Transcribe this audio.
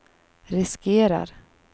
riskerar